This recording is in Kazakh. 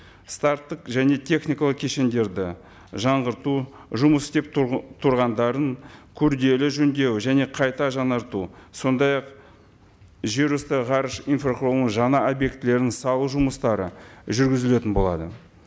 старттық және техникалық кешендерді жаңғырту жұмыс істеп тұрғандарын күрделі жөндеу және қайта жаңарту сондай ақ жер үсті ғарыш инфрақұрылымын жаңа объектілерін салу жұмыстары жүргізілетін болады